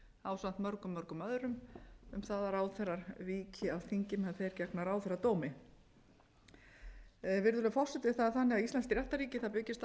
ásamt mörgum mörgum öðrum um það að ráðherrar víki af þingi á meðan þeir gegna ráðherradómi virðulegi forseti það er þannig að íslenskt réttarríki byggist